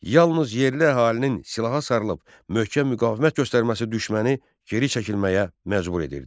Yalnız yerli əhalinin silaha sarılıb möhkəm müqavimət göstərməsi düşməni geri çəkilməyə məcbur edirdi.